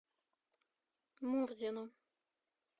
мурзину